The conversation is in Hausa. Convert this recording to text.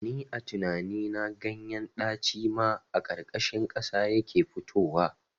Ni a tinani na ganyen ɗaci ma a ƙarƙashin ƙasa yake fitowa